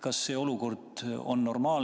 Kas see olukord on normaalne?